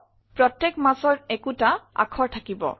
প্ৰত্যেক মাছৰ একোটা আখৰ থাকিব